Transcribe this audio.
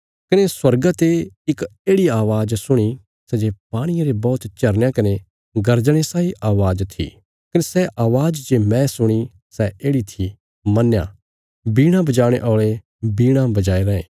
कने स्वर्गा ते इक येढ़ि अवाज़ सुणी सै जे पाणिये रे बौहत झरनयां कने गर्जणे साई अवाज़ थी कने सै अवाज़ जे मैं सुणी सै येढ़ि थी मन्नया वीणा बजाणे औल़े वीणा बजाया राँये